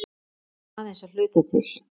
En aðeins að hluta til.